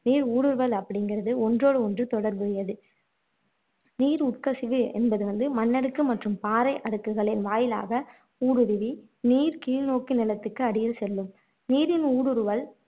நீர் ஊடுருவல் அப்படிங்குறது ஒன்றோடு ஒன்று தொடர்புடையது நீர் உட்கசிவு என்பது வந்து மண்ணடுக்கு மற்றும் பாறை அடுக்குகளின் வாயிலாக ஊடுருவி நீர் கீழ்நோக்கி நிலத்திற்கு அடியில் செல்லும் நீரின் ஊடுருவல்